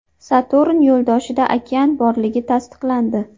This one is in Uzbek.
Saturn yo‘ldoshida okean borligi tasdiqlandi.